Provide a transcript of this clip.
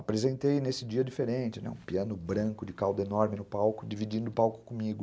Apresentei nesse dia diferente, né, um piano branco de caldo enorme no palco, dividindo o palco comigo.